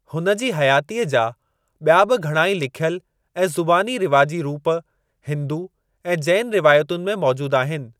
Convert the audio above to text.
हुन जी हयातीअ जा ॿिया बि घणा ही लिख्‍यल ऐं ज़ुबानी रिवाजी रूप हिन्‍दु ऐं जैन रिवायतुनि में मौजूद आहिनि।